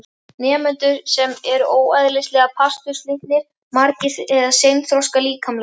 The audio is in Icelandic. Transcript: Nemendur sem eru óeðlilega pasturslitlir, magrir eða seinþroska líkamlega.